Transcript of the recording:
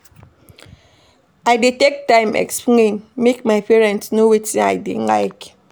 I dey take time explain, make my parents know wetin I dey like.